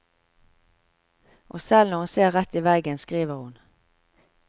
Og selv når hun ser rett i veggen, skriver hun.